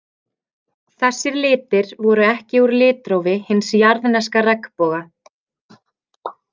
Þessir litir voru ekki úr litrófi hins jarðneska regnboga.